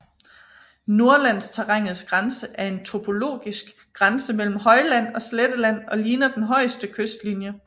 Norrlandsterrænets grænse er en topologisk grænse mellem højland og sletteland og ligner den højeste kystlinje